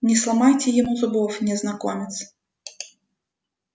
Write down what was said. не сломайте ему зубов незнакомец